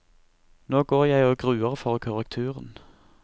Nå går jeg og gruer for korrekturen.